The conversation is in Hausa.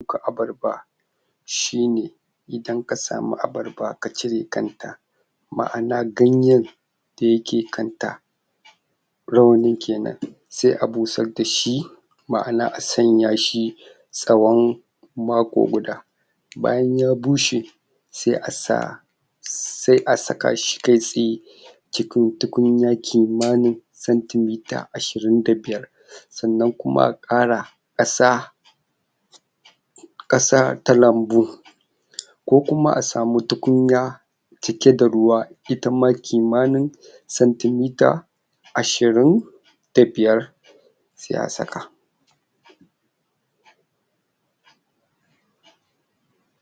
Ka abarba shine idan kasamu abarba kacire kanta ma'ana ganyen da yake kanta rawanin kenan se a busar dashi ma'ana asan yashi tsawon mako guda bayan ya bushe se asa se a sakashi kai tsaye cikin tukunya kimanin senti mita ashirin da biyar sannan kuma a ƙara ƙasa ƙasa ta lambu ko kuma asamu tukunya cike da ruwa itama kimanin santi mita ashirin da biyar se a saka